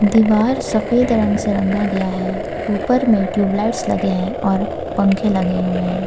दीवार सफेद रंग से रंगा गया है ऊपर में ट्यूबलाइट्स लगे हैं और पंखे लगे हुए हैं।